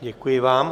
Děkuji vám.